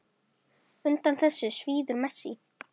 Undan þessu svíður Messi.